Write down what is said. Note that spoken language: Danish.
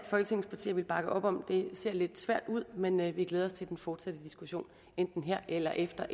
folketingets partier ville bakke op om det ser lidt svært ud men men vi glæder os til den fortsatte diskussion enten her eller efter